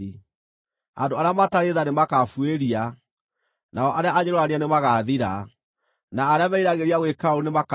Andũ arĩa matarĩ tha nĩmakabuĩria, nao arĩa anyũrũrania nĩmagathira, na arĩa meriragĩria gwĩka ũũru nĩmakaniinwo: